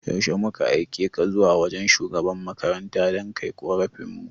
Yaushe zuma aikeka zuwa wajan shugaban makarantar dan kai korafin mu?